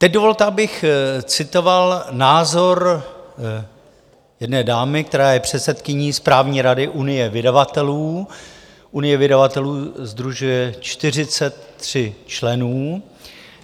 Teď dovolte, abych citoval názor jedné dámy, která je předsedkyní správní rady Unie vydavatelů - Unie vydavatelů sdružuje 43 členů.